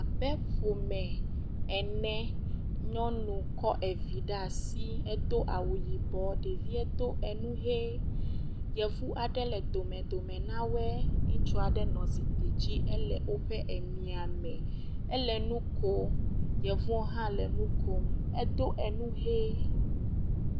Abe ƒome ene, nyɔnu kɔ evi ɖe asi edo awu yibɔ, ɖevie do enu ʋe, yevu aɖe le domedome na wɔe, ŋutsu aɖe nɔ zikpui dzi, ele woƒe emia me, ele nu kom, yevuɔ hã nu kom, edo enu ʋe.